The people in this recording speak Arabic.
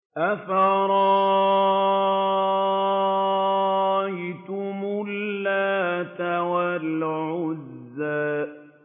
أَفَرَأَيْتُمُ اللَّاتَ وَالْعُزَّىٰ